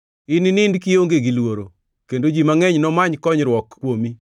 Ininind kionge gi luoro, kendo ji mangʼeny nomany konyruok kuomi.